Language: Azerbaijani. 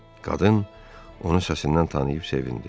Qadın onu səsindən tanıyıb sevindi.